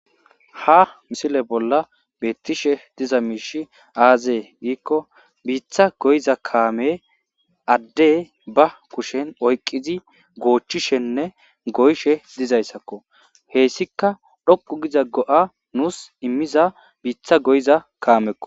ha misile bolla beettishe diza miishi aazee giikko biitha goyiza kaame adde ba kushen oyqqizi goochishenne goyishe dizayssakko heessika dhoqu giza go7a nuus immiza biitha goyiza kaamekko